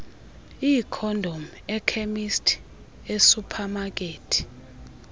iikhondom ekhemisti esuphamakethi